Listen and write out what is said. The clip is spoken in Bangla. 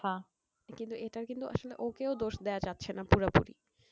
কিন্তু এটার কিন্তু আসলে ওকেও দোষ দেওয়া যাচ্ছে না পুরাপুরি।